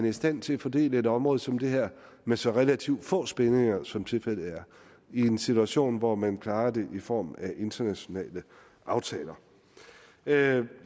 i stand til at fordele et område som det her med så relativt få spændinger som tilfældet er i en situation hvor man klarer det i form af internationale aftaler jeg